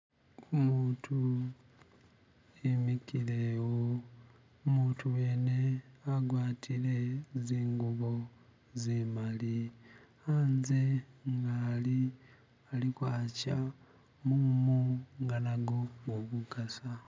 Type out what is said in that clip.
Umutu imikile wo umutu wene agwatile zingubo zimali hanze inga hali haliko hacha mumu inga nago guli kukasa